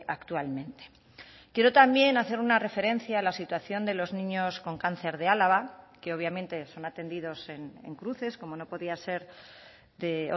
actualmente quiero también hacer una referencia a la situación de los niños con cáncer de álava que obviamente son atendidos en cruces como no podía ser de